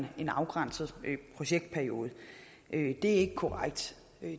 en afgrænset projektperiode det er ikke korrekt